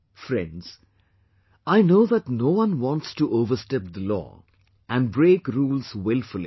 Friends, I know that no one wants to overstep the law and break rules wilfully